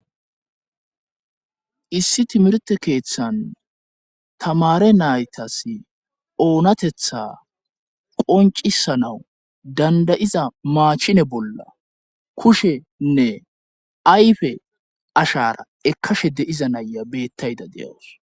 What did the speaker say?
issi timirte keeththan tamare naytas oonatetha qoncisanawu dandayiza maachine bolla kushenne ayfe ashara ekkashe de7iza naya beettayda deyawus